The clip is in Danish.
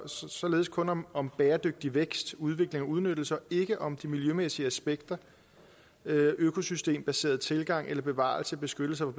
således kun om om bæredygtig vækst udvikling og udnyttelse og ikke om de miljømæssige aspekter økosystembaseret tilgang eller bevarelse beskyttelse og